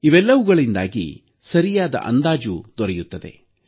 ಇವೆಲ್ಲವುಗಳಿಂದಾಗಿ ಸರಿಯಾದ ಅಂದಾಜು ದೊರೆಯುತ್ತದೆ